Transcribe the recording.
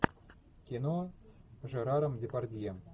кино с жераром депардье